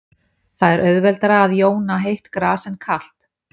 það er auðveldara að jóna heitt gas en kalt